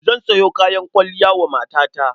Zan sayo kayan kwalliya wa matata.